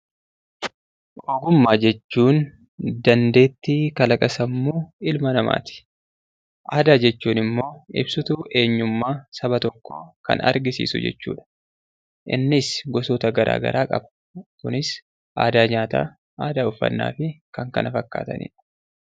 Ogummaa jechuun dandeettii kalaqa sammuu ilma namaati. Aadaa jechuun immoo ibsituu eenyummaa saba tokkoo kan argisiisu jechuudha. Innis gosoota garaa garaa qaba. Kunis aadaa nyaataa, aadaa uffannaa fi kan kana fakkaatanidha.